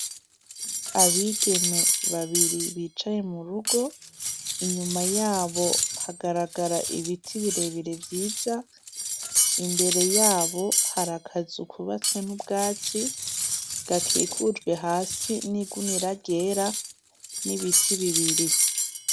Abigeme babiri bicaye mu rugo inyuma yabo hagaragara ibiti bire bire vyiza imbere yabo hari akazu kubatswe n' ubwatsi gakikujwe hasi n' igunira ryera n' ibiti bibiri.